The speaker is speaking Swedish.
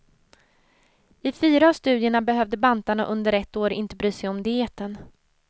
I fyra av studierna behövde bantarna under ett år inte bry sig om dieten.